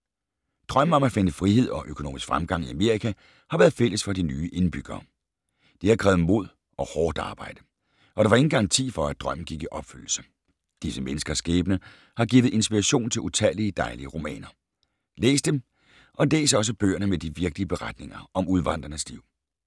Drømmen om at finde frihed og økonomisk fremgang i Amerika har været fælles for de nye indbyggere. Det har krævet mod og hårdt arbejde. Og der var ingen garanti for, at drømmen gik i opfyldelse. Disse menneskers skæbne har givet inspiration til utallige dejlige romaner. Læs dem, og læs også bøgerne med de virkelige beretninger om udvandrernes liv.